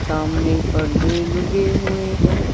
सामने पर्दे लुगे हुए हैं।